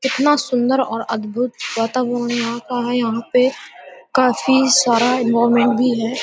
कितना सुंदर और अद्भुत वातावरण यहाँ का है यहाँ पे काफ़ी सारा एनवाॅरमेंट भी है।